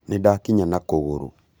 nĩdakinya na kũgũrũ